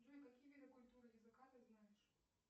джой какие виды культуры языка ты знаешь